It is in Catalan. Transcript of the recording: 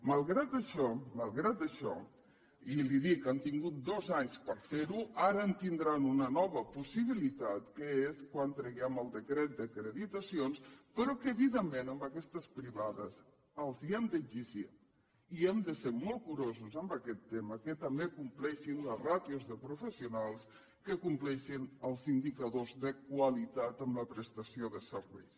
malgrat això i li ho dic han tingut dos anys per ferho ara en tindran una nova possibilitat que és quan traguem el decret d’acreditacions però que evidentment a aquestes privades els hem d’exigir i hem de ser molt curosos amb aquest tema que també compleixin les ràtios de professionals que compleixin els indicadors de qualitat en la prestació de serveis